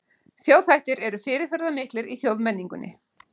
Þjóðhættir eru fyrirferðamiklir í þjóðmenningunni.